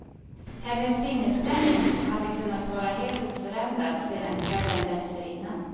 Hennes sinnesstämning hade kunnat vara helt oförändrad sedan kvällen dessförinnan.